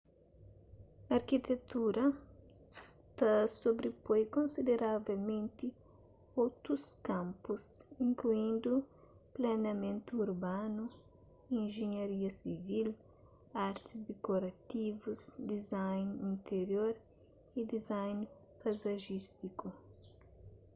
arkitektura ta sobripoi konsideravelmenti otus kanpus inkluindu planiamentu urbanu injenharia sivil artis dikorativus design interior y design paizajístiku